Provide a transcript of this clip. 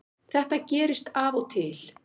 Þetta gerist af og til